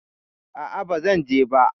A'a, ba zan je ba.